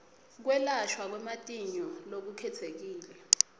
kwelashwa kwematinyo lokukhetsekile